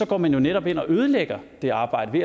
går man jo netop ind og ødelægger det arbejde